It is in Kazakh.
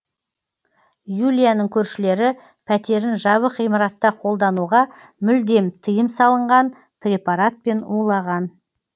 юлияның көршілері пәтерін жабық ғимаратта қолдануға мүлдем тыйым салынған препаратпен улаған